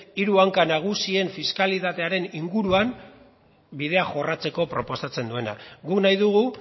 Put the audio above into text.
hiru hanka nagusien fiskalitatearen inguruan bidea jorratzeko proposatzen duena guk nahi dugu